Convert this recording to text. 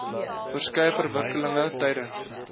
verskeie verwikkelinge tydens